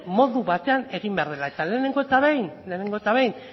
modu batean egin behar dela eta lehenengo eta behin